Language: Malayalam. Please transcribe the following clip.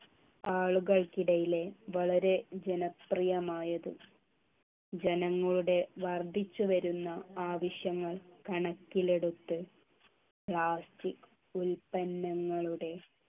ആളുകൾക്കിടയിലെ വളരെ ജനപ്രിയമായതും ജനങ്ങളുടെ വർദ്ധിച്ചുവരുന്ന ആവശ്യങ്ങൾ കണക്കിലെടുത്ത് plastic ഉൽപ്പന്നങ്ങളുടെ